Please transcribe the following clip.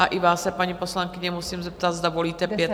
A i vás se, paní poslankyně, musím zeptat, zda volíte pět?